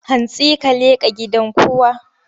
Hantsi ka leƙa gidan kowa!